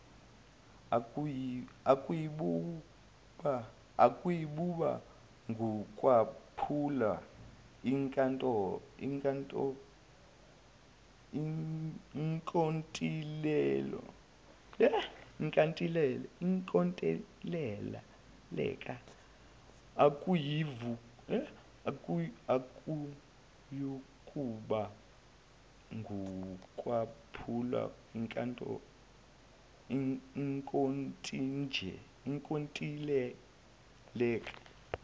akuyukuba ngukwaphula inkontileka